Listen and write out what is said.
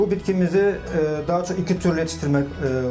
Bu bitkimizi daha çox iki türlü yetişdirmək oluyor.